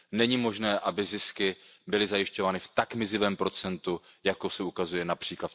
Není možné, aby zisky byly zajišťovány v tak mizivém procentu, jak se ukazuje např.